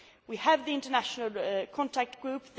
We have the international contact group.